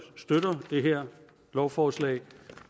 støtter det her lovforslag